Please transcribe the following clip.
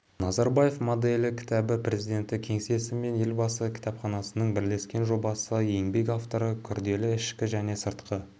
назарбаев моделі кітабы президенті кеңсесі мен елбасы кітапханасының бірлескен жобасы еңбек авторлары күрделі ішкі және сыртқы